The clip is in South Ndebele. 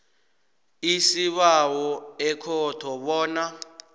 isibawo ekhotho bona